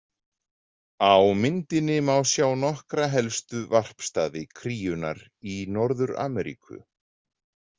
Á myndinni má sjá nokkra helstu varpstaði kríunnar í Norður-Ameríku.